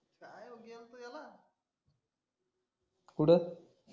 कुठं